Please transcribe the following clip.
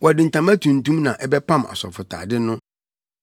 “Wɔde ntama tuntum na ɛbɛpam asɔfotade no